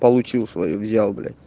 получил своё взял блять